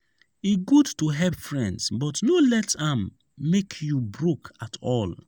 e good to help friends but no let am make you broke at all.